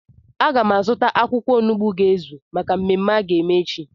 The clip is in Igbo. Aga m azụta akwụkwọ onugbu ga-ezu maka mmemme a ga-eme echi